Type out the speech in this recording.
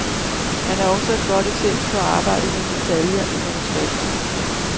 Han er også et godt eksempel på arbejdet med detaljen i manuskriptet.